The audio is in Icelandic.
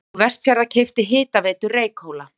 Orkubú Vestfjarða keypti Hitaveitu Reykhóla.